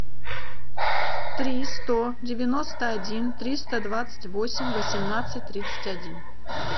три сто девяносто один триста двадцать восемь восемнадцать тридцать один